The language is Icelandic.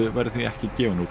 verður því ekki gefinn út